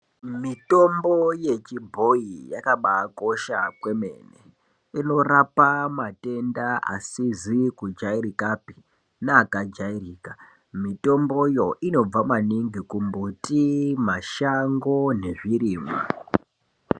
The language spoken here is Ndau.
Mitombo yechibhoyi yakambaakosha kwemene ,inorape matenda asizi kujairikapi neakajairika. Mitomboyo inobva maningi kumbuti ,mashango nezvirimwa